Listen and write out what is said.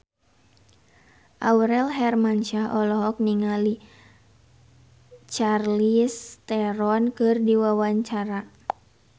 Aurel Hermansyah olohok ningali Charlize Theron keur diwawancara